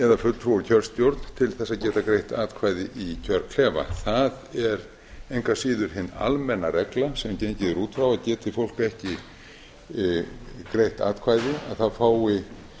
eða fulltrúar úr kjörstjórn til þess að geta greitt atkvæði í kjörklefa það er engu að síður hin almenna regla sem gengið er út frá að geti fólk ekki greitt atkvæði að þá fái